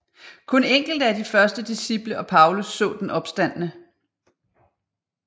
Kun enkelte af de første disciple og Paulus så den opstandne